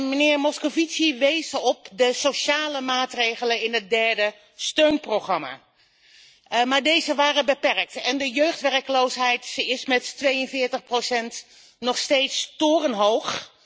Meneer Moscovici wees op de sociale maatregelen in het derde steunprogramma, maar deze waren beperkt en de jeugdwerkloosheid is met 42 nog steeds torenhoog.